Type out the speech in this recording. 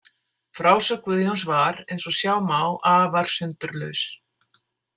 Frásögn Guðjóns var, eins og sjá má, afar sundurlaus.